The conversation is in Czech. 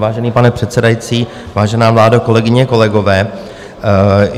Vážený pane předsedající, vážená vládo, kolegyně, kolegové.